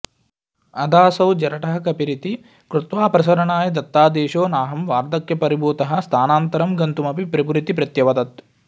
अथासौ जरठः कपिरिति कृत्वापसरणाय दत्तादेशो नाहं वार्धक्यपरिभूतः स्थानान्तरं गन्तुमपि प्रभुरिति प्रत्यवदत्